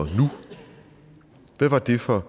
nu hvad var det for